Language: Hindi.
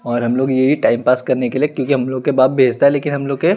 और हम लोग येही टाइम पास करने के लिए किउकी हम लोग का बाप बेचता लेकिन हम लोग के--